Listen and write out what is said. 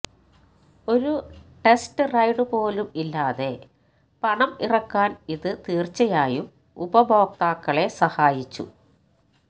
ഒരു test ride പോലും ഇല്ലാതെ പണം ഇറക്കാൻ ഇത് തീർച്ചയായും ഉപഭോക്താക്കളെ സഹായിച്ചു